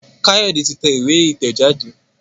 Kayode tí tẹ̀ ìwé itẹjade.